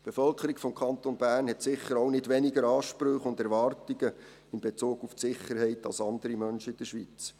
Die Bevölkerung des Kantons Bern hat sicher auch nicht weniger Ansprüche und Erwartungen in Bezug auf die Sicherheit als andere Menschen in der Schweiz.